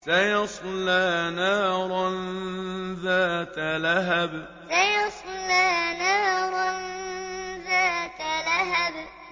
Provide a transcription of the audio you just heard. سَيَصْلَىٰ نَارًا ذَاتَ لَهَبٍ سَيَصْلَىٰ نَارًا ذَاتَ لَهَبٍ